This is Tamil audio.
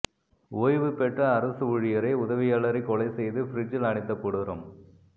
ஓய்வுபெற்ற அரசு ஊழியரை உதவியாளரே கொலை செய்து ஃபிரிட்ஜில் அடைத்த கொடூர